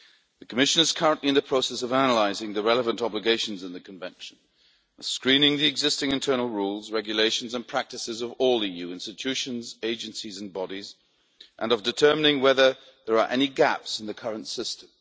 The Commission is currently in the process of analysing the relevant obligations in the Convention, screening the existing internal rules, regulations and practices of all EU institutions, agencies and bodies, and determining whether there are any gaps in the current system.